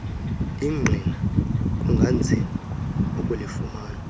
ingqina kunganzima ukulifumana